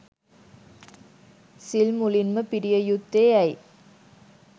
සිල් මුලින්ම පිරිය යුත්තේ ඇයි?